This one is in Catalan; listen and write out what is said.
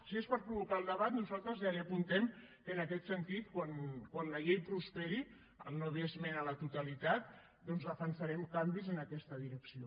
si és per provocar el debat nosaltres ja li apuntem que en aquest sentit quan la llei prosperi al no haver hi esmena a la totalitat doncs defensarem canvis en aquesta direcció